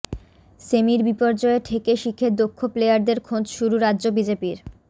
সেমির বিপর্যয়ে ঠেকে শিখে দক্ষ প্লেয়ারদের খোঁজ শুরু রাজ্য বিজেপির